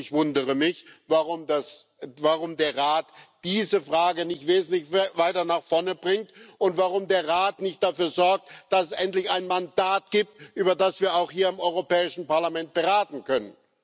Ich wundere mich, warum der Rat diese Frage nicht wesentlich weiter nach vorne bringt und warum der Rat nicht dafür sorgt, dass es endlich ein Mandat gibt, über das wir hier im Europäischen Parlament beraten können.